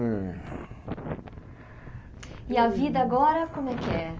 Eh E a vida agora, como é que é?